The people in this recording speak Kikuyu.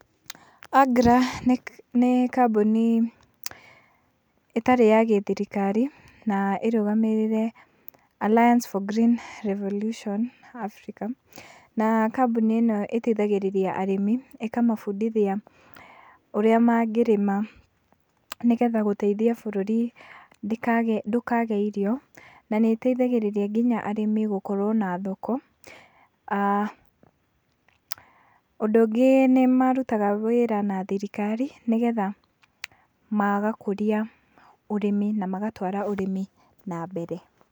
AGRA nĩ kambũni ĩtarĩ ya gĩthirikari, na ĩrũgamĩrĩire Alliance for Green Revolution Africa, na kambũni ĩno ĩteithagĩrĩria arĩmi, ĩkamabundithia ũrĩa mangĩrĩma, nĩgetha gũteithia bũrũri ndũkage irio, na nĩ ĩtethagĩrĩria arĩmi nginya gũkorwo na thoko, aah ũndũ ũngĩ nĩ marutaga wĩra na thirikari, nĩgetha magakũrĩa ũrĩmi na magatwara ũrĩmi na mbere.